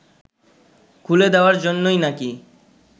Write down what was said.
খুলে দেওয়ার জন্যই নাকি